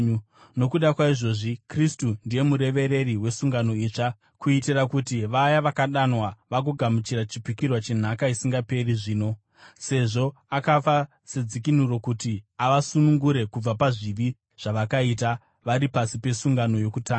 Nokuda kwaizvozvi Kristu ndiye murevereri wesungano itsva, kuitira kuti vaya vakadanwa vagogamuchira chipikirwa chenhaka isingaperi zvino, sezvo akafa sedzikinuro kuti avasunungure kubva pazvivi zvavakaita vari pasi pesungano yokutanga.